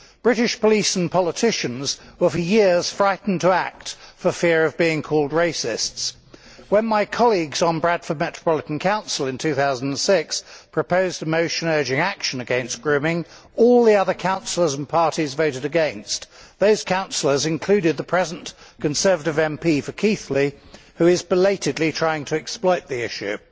British police and politicians were for years frightened to act for fear of being called racists. When my colleagues on Bradford Metropolitan Council in 2006 proposed a motion urging action against grooming, all the other councillors and parties voted against it. Those councillors included the present Conservative MP for Keighley, who is belatedly trying to exploit the issue.